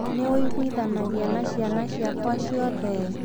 Nĩ ũiguithanagia na ciana ciakwa ciothe?